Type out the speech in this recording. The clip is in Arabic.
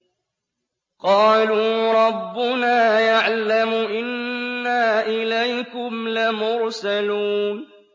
قَالُوا رَبُّنَا يَعْلَمُ إِنَّا إِلَيْكُمْ لَمُرْسَلُونَ